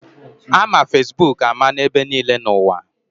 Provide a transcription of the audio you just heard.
Ama Fesbuk ama n'ebe niile n'ụwa.